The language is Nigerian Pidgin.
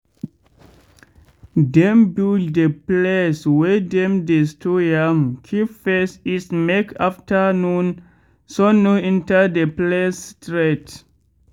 dem build de place wey dem dey store yam keep face east make afternoon sun no enter de place straight.